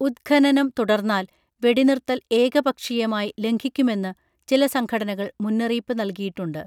ഉത്ഖനനം തുടർന്നാൽ വെടിനിർത്തൽ ഏകപക്ഷീയമായി ലംഘിക്കുമെന്നു ചില സംഘടനകൾ മുന്നറിയിപ്പു നൽകിയിട്ടുണ്ട്